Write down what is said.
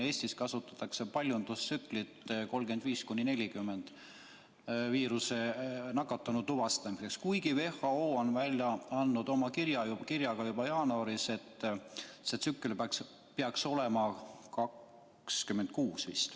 Teadaolevalt kasutatakse Eestis 35–40 paljundustsüklit viirusega nakatunu tuvastamiseks, kuigi WHO on teatanud oma kirjas juba jaanuaris, et tsükleid peaks olema vist 26.